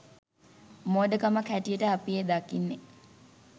මෝඩකමක් හැටියටයි අපි එය දකින්නේ